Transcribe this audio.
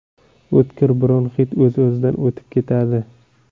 O‘tkir bronxit o‘z-o‘zidan o‘tib ketadi.